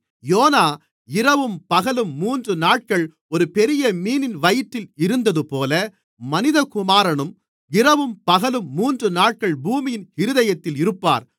YONO இரவும் பகலும் மூன்று நாட்கள் ஒரு பெரிய மீனின் வயிற்றில் இருந்ததுபோல மனிதகுமாரனும் இரவும் பகலும் மூன்று நாட்கள் பூமியின் இருதயத்தில் இருப்பார்